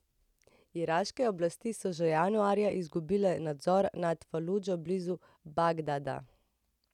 Iraške oblasti so že januarja izgubile nadzor nad Faludžo blizu Bagdada.